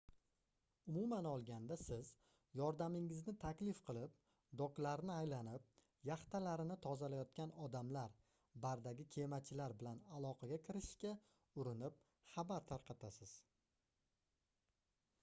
umuman olganda siz yordamingizni taklif qilib doklarni aylanib yaxtalarini tozalayotgan odamlr bardagi kemachilar bilan aloqaga kirishishga urinib xabar tarqatasiz